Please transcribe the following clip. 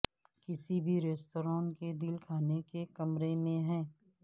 کسی بھی ریستوران کے دل کھانے کے کمرے میں ہے